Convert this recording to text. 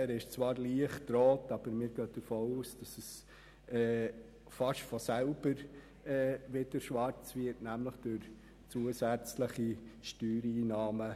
Zwar ist dieser leicht rot, aber wir gehen davon aus, dass er fast von selber wieder schwarz wird, nämlich durch zusätzliche Steuereinnahmen.